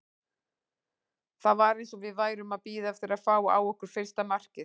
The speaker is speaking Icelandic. Það var eins og við værum að bíða eftir að fá á okkur fyrsta markið.